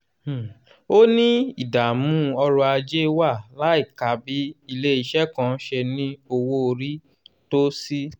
um ó ní ìdààmú ọrọ̀ ajé wà láìka bí ilé-iṣẹ́ kan ṣe ní owó orí tó sí.